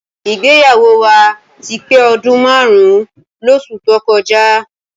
Ìgbéyàwó wa ti pé ọdún márùn-ún lóṣù tó kọjá.